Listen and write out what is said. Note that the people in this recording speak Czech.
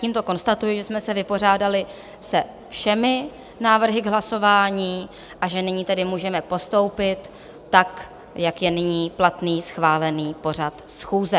Tímto konstatuji, že jsme se vypořádali se všemi návrhy k hlasování, a že nyní tedy můžeme postoupit tak, jak je nyní platný schválený pořad schůze.